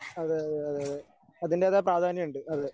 അതെ അതെ അതെ അതെ അതിന്റേതായ പ്രാധാന്യമുണ്ട്. അതെ